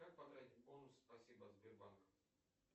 как потратить бонусы спасибо от сбербанка